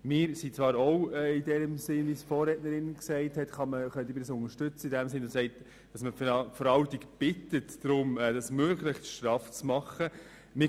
Zwar können wir es – wie die Vorrednerin – unterstützen, dass man die Verwaltung um eine möglichst straffe Organisation bittet.